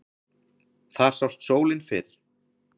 Þar sást sólin fyrr.